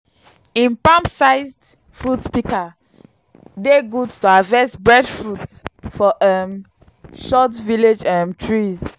him palm sized fruit pika dey good to harvest breadfruit for um short village um trees